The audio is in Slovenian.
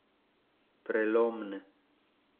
Prelomne!